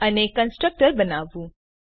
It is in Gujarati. અને કન્સ્ટ્રક્ટર બનાવવું